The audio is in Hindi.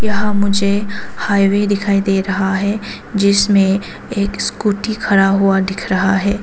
यहां मुझे हाईवे दिखाई दे रहा है जिसमें एक स्कूटी खड़ा हुआ दिख रहा है।